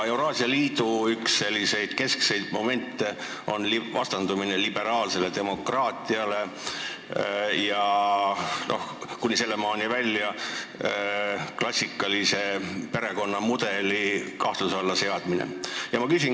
Euraasia Liidu keskseid momente on vastandumine liberaalsele demokraatiale, kuni sinnani välja, et klassikaline perekonnamudel seatakse kahtluse alla.